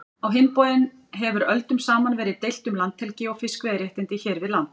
Á hinn bóginn hefur öldum saman verið deilt um landhelgi og fiskveiðiréttindi hér við land.